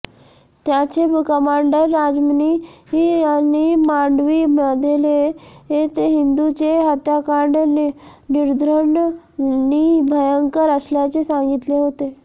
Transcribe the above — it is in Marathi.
त्याचे कमांडर राजमणी यांनी मांडवी मधेले ते हिंदूंचे हत्याकांड निर्घृण नी भयंकर असल्याचे सांगितले होते